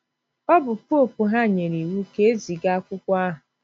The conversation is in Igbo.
Ọ bụ poopu ha nyere “ iwu ” ka e ziga akwụkwọ ahụ.